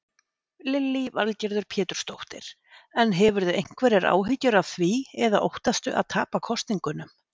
Lillý Valgerður Pétursdóttir: En hefurðu einhverjar áhyggjur af því eða óttastu að tapa kosningunum?